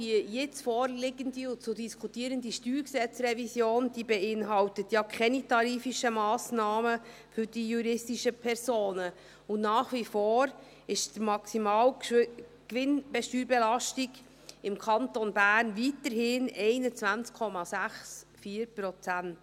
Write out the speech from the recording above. Die jetzt vorliegende und zu diskutierende StG-Revision beinhaltet ja keine tariflichen Massnahmen für die juristischen Personen, und nach wie vor ist die Maximalgewinnsteuerbelastung im Kanton Bern bei 21,64 Prozent.